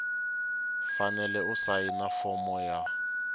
fanele ku sayina fomo ya